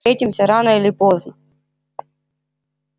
встретимся рано или поздно